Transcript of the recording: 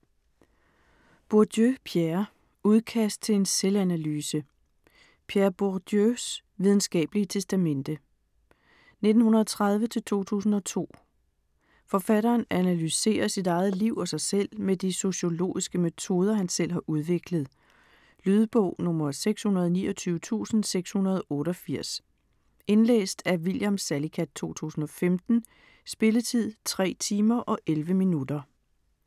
Bourdieu, Pierre: Udkast til en selvanalyse Pierre Bourdieus (1930-2002) videnskabelige testamente. Forfatteren analyserer sit eget liv og sig selv med de sociologiske metoder, han selv har udviklet. Lydbog 629688 Indlæst af William Salicath, 2015. Spilletid: 3 timer, 11 minutter.